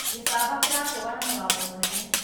gĩcaba kĩrakũga na mũgabo mũnene